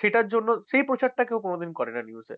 সেটার জন্য সে প্রচারটা কেউ করে না কোনদিন news এ।